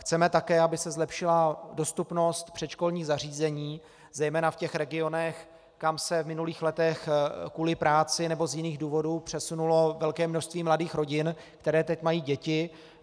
Chceme také, aby se zlepšila dostupnost předškolních zařízení, zejména v těch regionech, kam se v minulých letech kvůli práci nebo z jiných důvodů přesunulo velké množství mladých rodin, které teď mají děti.